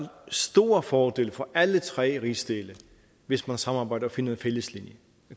store fordele for alle tre rigsdele hvis man samarbejder og finder en fælles linje